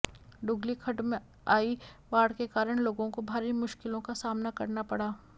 डुगली खड्ड में आई बाढ़ के कारण लोगों को भारी मुश्किलों का सामना करना पड़ा